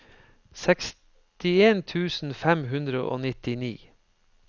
sekstien tusen fem hundre og nittini